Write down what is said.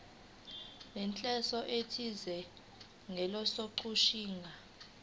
nenhloso ethize njengokuchaza